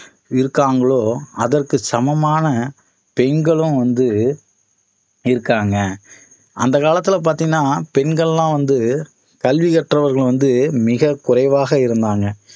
இருக்காங்களோ அதற்கு சமமான பெண்களும் வந்து இருக்காங்க அந்த காலத்துல பாத்தீங்கன்னா பெண்கள் எல்லாம் வந்து கல்வி கற்றவர்கள் வந்து மிகக் குறைவாக இருந்தாங்க